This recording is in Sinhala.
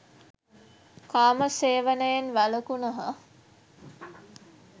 කාම සේවනයෙන් වැළකුණහ.